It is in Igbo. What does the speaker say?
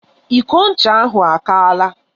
Iko ncha ahụ akaala.